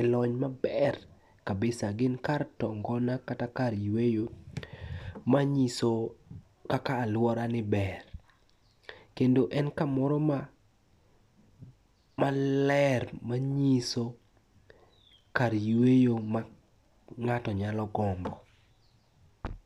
e lony maber kabisa gin kar to ngona kata kar yweyo manyiso kaka alworani ber kendo en kamoro maler manyiso kar yweyo ma ng'ato nyalo gombo.